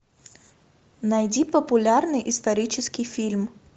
найди популярный исторический фильм